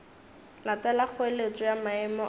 latela kgoeletšo ya maemo a